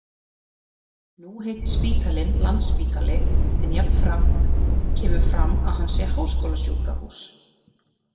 Nú heitir spítalinn Landspítali en jafnframt kemur fram að hann sé háskólasjúkrahús.